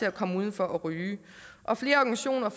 at komme udenfor og ryge og flere organisationer